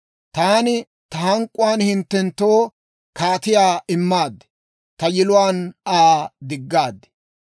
Taani ta hank'k'uwaan hinttenttoo kaatiyaa immaad; ta yiluwaan Aa diggaad.